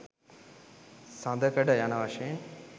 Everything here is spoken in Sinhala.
සඳකඩ යන වශයෙන්